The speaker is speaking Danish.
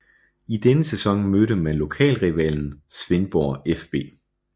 I denne sæson mødte man lokalrivalen Svendborg fB